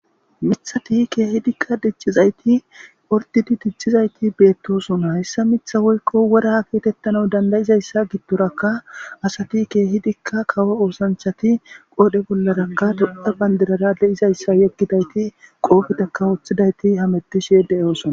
mithati kehidikka dichizayti pordidi dichizayti beettosona hayssa mitha woykko woraa kietettana dandayizayssa gidtorakka asati keehidikka kawo oosanchati qoodhe bollarakka todda bandirara de7izayssa yeggidayti qoofeteka wooththidayti hamettishe de7oosona